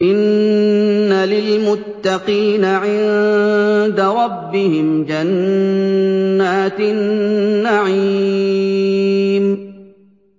إِنَّ لِلْمُتَّقِينَ عِندَ رَبِّهِمْ جَنَّاتِ النَّعِيمِ